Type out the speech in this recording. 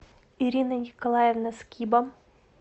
ирина николаевна скиба